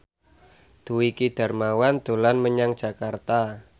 Dwiki Darmawan dolan menyang Jakarta